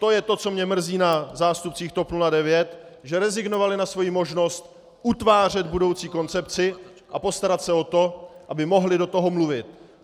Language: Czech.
To je to, co mě mrzí na zástupcích TOP 09, že rezignovali na svoji možnost utvářet budoucí koncepci a postarat se o to, aby mohli do toho mluvit.